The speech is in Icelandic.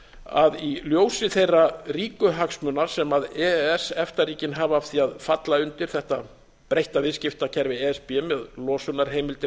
að í ljósi þeirra ríku hagsmuna sem e e s efta ríkin hafa af því að falla undir þetta breytta viðskiptakerfi e s b með losunarheimildir